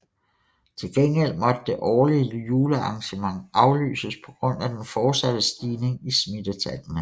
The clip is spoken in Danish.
Til gengæld måtte det årlige julearrangement aflyses på grund af den fortsatte stigning i smittetallene